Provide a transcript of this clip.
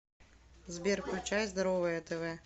сбер включай здоровое тв